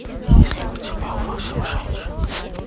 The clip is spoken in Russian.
есть ли у тебя восемь женщин